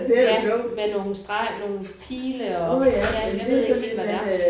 Ja med nogle streger nogle pile og ja jeg ved ikke helt hvad det er